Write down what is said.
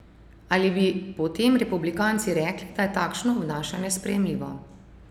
Ali bi potem republikanci rekli, da je takšno obnašanje sprejemljivo?